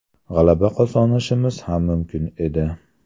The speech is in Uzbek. G‘alaba qozonishimiz ham mumkin edi.